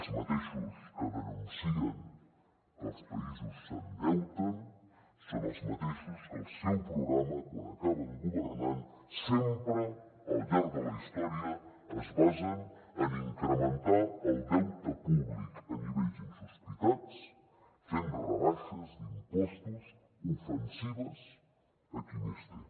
els mateixos que denuncien que els països s’endeuten són els mateixos que al seu programa quan acaben governant sempre al llarg de la història es basen en incrementar el deute públic a nivells insospitats fent rebaixes d’impostos ofensives a qui més té